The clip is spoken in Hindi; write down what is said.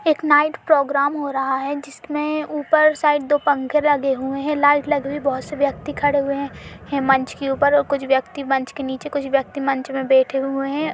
एक नाइट प्रोग्राम हो रहा है जिसमे ऊपर साइड दो पंखे लगे हुए हैं लाईट लगी हुई हैं बोहोत से व्यक्ति खड़े हुए हैं मंच के ऊपर और कुछ व्यक्ति मंच के नीचे कुछ व्यक्ति मंच में बैठे हुए हैं।